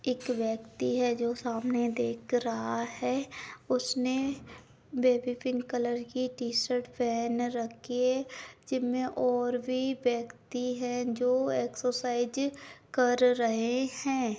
एक व्यक्ति है जो सामने देख रहा है। उसने बेबी पिंक कलर की टी-शर्ट पहनी रखी है। जिम मे और भी व्यक्ति है जो एक्सरसाइज़ कर रहे है।